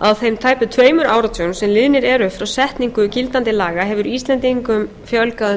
á þeim tæpu tveimur áratugum sem liðnir eru frá setningu gildandi laga hefur íslendingum fjölgað um